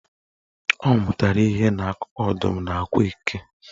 Ọ amụtara ihe n'akụkọ Ọdụm na Akwa Eke.